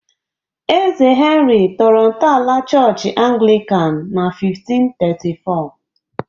Eze Henry tọrọ ntọala Chọọchị Anglican na 1534